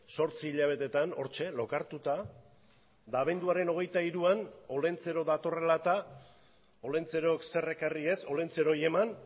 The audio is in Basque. zortzi hilabeteetan hortxe lokartuta eta abenduaren hogeita hiruan olentzero datorrela eta olentzerok zer ekarri ez olentzerori eman